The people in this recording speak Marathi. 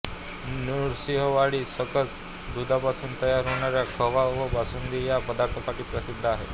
नृसिंहवाडी सकस दुधापासून तयार होणाऱ्या खवा व बासुंदी या पदार्थांसाठी प्रसिद्ध आहे